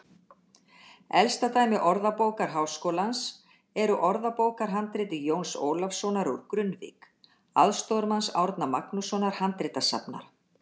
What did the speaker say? Elsta dæmi Orðabókar Háskólans er úr orðabókarhandriti Jóns Ólafssonar úr Grunnavík, aðstoðarmanns Árna Magnússonar handritasafnara.